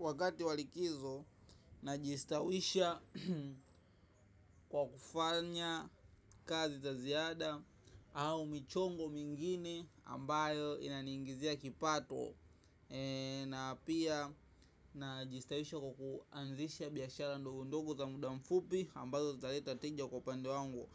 Wakati wa likizo najistawisha kwa kufanya kazi za ziada au michongo mingine ambayo inaniingizia kipato na pia najistawisha kwa kuanzisha biashara ndogo ndogo za muda mfupi ambazo zitaleta tija kwa upande wangu